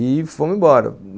E fomos embora.